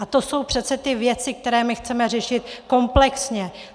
A to jsou přece ty věci, které my chceme řešit komplexně.